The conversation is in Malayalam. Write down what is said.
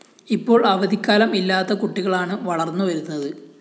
ഇപ്പോള്‍ അവധിക്കാലം ഇല്ലാത്ത കുട്ടികളാണ് വളര്‍ന്നു വരുന്നത്